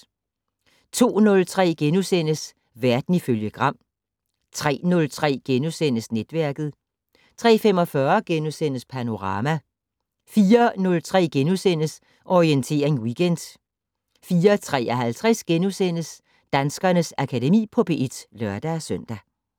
02:03: Verden ifølge Gram * 03:03: Netværket * 03:45: Panorama * 04:03: Orientering Weekend * 04:53: Danskernes Akademi på P1 *(lør-søn)